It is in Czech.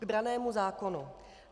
K brannému zákonu.